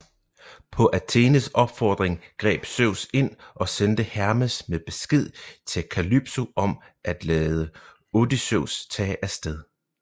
På Athenes opfordring greb Zeus ind og sendte Hermes med besked til Kalypso om at lade Odysseus tage af sted